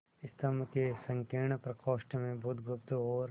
स्तंभ के संकीर्ण प्रकोष्ठ में बुधगुप्त और